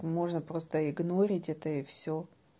можно просто игнорить это и всё